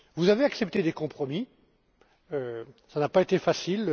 Vous avez accepté des compromis, cela n'a pas été facile.